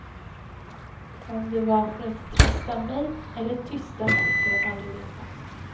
Om det var för att trösta mig eller tysta mig får jag aldrig veta.